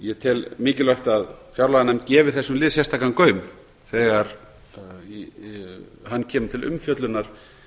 ég tel mikilvægt að fjárlaganefnd gefi þessum lið sérstakan gaum þegar hann kemur til umfjöllunar